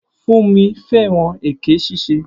Funmi fẹ́ràn èké ṣíṣe.